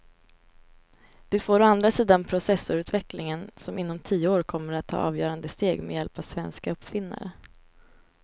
Det får å andra sidan processorutvecklingen som inom tio år kommer att ta avgörande steg med hjälp av svenska uppfinnare.